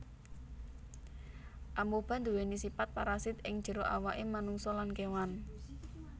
Amoeba nduwèni sipat parasit ing jero awaké manungsa lan kéwan